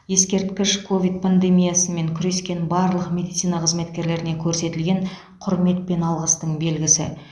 ескерткіш ковид пандемиясымен күрескен барлық медицина қызметкерлеріне көрсетілген құрмет пен алғыстың белгісі